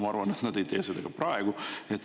Ma arvan, et nad ei tee seda ka praegu.